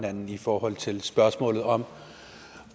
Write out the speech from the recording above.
hinanden i forhold til spørgsmålet om